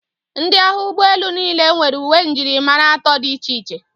Ndị agha ụgbọelu niile nwere uwe njirimara atọ dị iche iche.